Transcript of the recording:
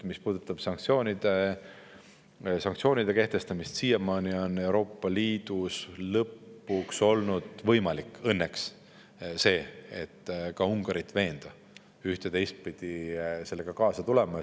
Mis puudutab sanktsioonide kehtestamist, siis Euroopa Liidus on lõpuks olnud õnneks võimalik veenda ka Ungarit üht- ja teistpidi sellega kaasa tulema.